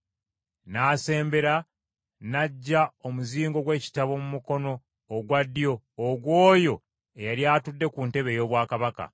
N’asembera n’aggya omuzingo gw’ekitabo mu mukono ogwa ddyo ogw’Oyo eyali atudde ku ntebe ey’obwakabaka.